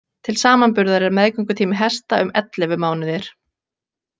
Til samanburðar er meðgöngutími hesta um ellefu mánuðir.